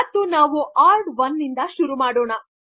ಮತ್ತು ನಾವು hard one ನಿಂದು ಶುರು ಮಾಡೋಣ